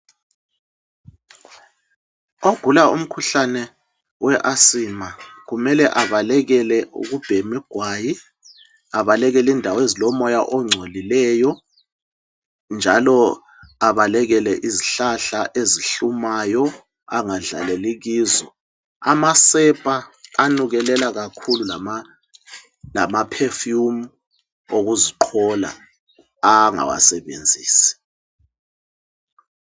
Ogula umkhuhlane we asima, kumele abalekele ukubhema igwayi, abalekel'indaw'ezilomoya ongcolileyo, njalo abalekele izihlahla ezihlumayo angadlaleli kizo. Amasepa anukelela kakhulu lamaphefumu okuziqhola angawasebenzisi